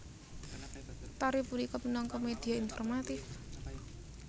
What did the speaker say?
Tari punika minangka media informatif